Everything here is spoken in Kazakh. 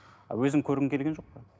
өзің көргің келген жоқ па